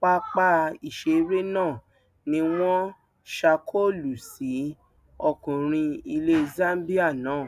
pápá ìṣeré náà ni wọn ṣàkólú sí ọkùnrin ilẹ zambia náà